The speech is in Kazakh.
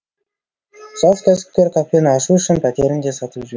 жас кәсіпкер кафені ашу үшін пәтерін де сатып жіберген